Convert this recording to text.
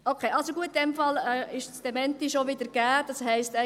– Okay, gut, in diesem Fall ist schon wieder das Dementi gegeben, das heisst: